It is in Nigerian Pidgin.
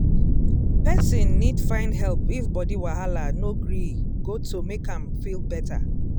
person need find help if body wahala no gree goto make am feel better